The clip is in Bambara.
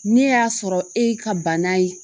Ne y'a sɔrɔ e ye ka bana ye